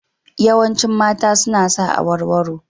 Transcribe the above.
Yawancin mata suna sa awarwaro.